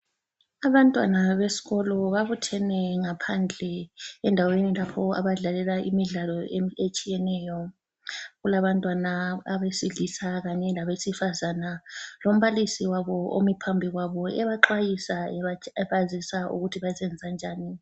Abantwana besikolo babuthene ngaphandle endaweni lapho abadlalela imidlalo etshiyeneyo. Kulabantwana abesilisa kanye labesifazane, lombalisi wabo omi phambi kwabo ebaxwayisa ebazisa ukuthi bazakwenzanjani.